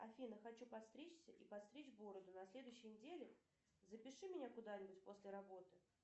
афина хочу подстричься и подстричь бороду на следующей неделе запиши меня куда нибудь после работы